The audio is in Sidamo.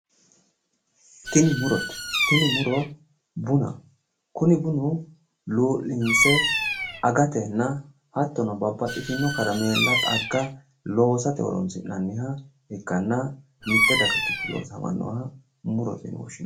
Tini murote. Tini muro bunaho. Kuni luu'linse agatenna hattono babbaxxitino karameella, xagga loosate horoonsi'nanniha ikkanna mitte daga giddo afamannoha murote yine woshshinanni.